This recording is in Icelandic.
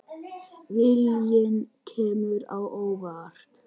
Viljinn kemur á óvart.